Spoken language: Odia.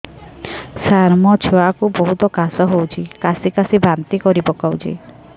ସାର ମୋ ଛୁଆ କୁ ବହୁତ କାଶ ହଉଛି କାସି କାସି ବାନ୍ତି କରି ପକାଉଛି